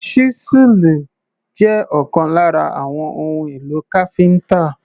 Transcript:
Ṣísẹ́ẹ̀lì jẹ́ ọ̀kan lára àwọn ohun èlò káfíńtà.